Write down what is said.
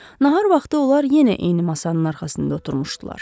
Nahar vaxtı onlar yenə eyni masanın arxasında oturmuşdular.